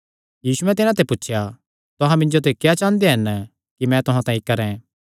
यीशु तिन्हां नैं ग्लाणा लग्गा तुहां मिन्जो ते क्या चांह़दे हन कि मैं तुहां तांई करैं